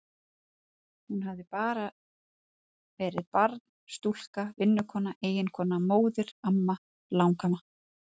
Hún hafði bara verið barn, stúlka, vinnukona, eiginkona, móðir, amma, langamma.